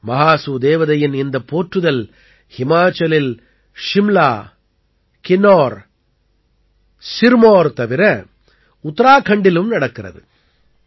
மஹாசூ தேவதையின் இந்தப் போற்றுதல் ஹிமாச்சலில் ஷிம்லா கின்னௌர் சிர்மௌர் தவிர உத்தராக்கண்டிலும் நடக்கிறது